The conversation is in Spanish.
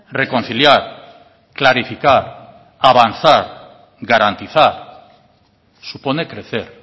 reconciliar clarificar avanzar garantizar supone crecer